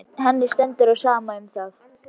Henni stendur á sama um það.